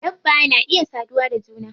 Dabba na iya saduwa da juna.